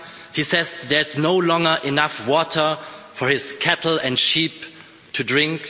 He says there is no longer enough water for his cattle and sheep to drink.